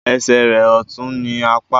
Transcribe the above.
Esè rẹ ọtún ní Àpá